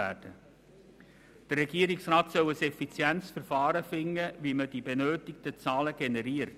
Der Regierungsrat soll ein effizientes Verfahren finden, wie man die benötigten Zahlen generiert.